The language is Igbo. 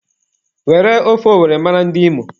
Were ofe owere mara ndị Imo